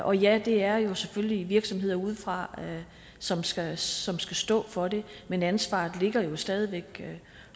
og ja det er selvfølgelig virksomheder udefra som skal som skal stå for det men ansvaret ligger jo stadig væk